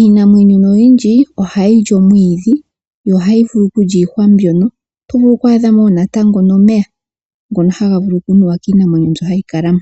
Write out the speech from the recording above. Iinamwenyo oyindji ohayi li omwidhi, yo ohayi vulu okulya iihwa mbyoka, oho vulu noho oku adhamo natango omeya ngono haga vulu oku nuwa kiinamwenyo myoka hayi kalamo.